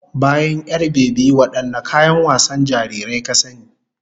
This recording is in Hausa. Bayan 'yar-bebi, wadanne kayan wasan jarirai ka sani?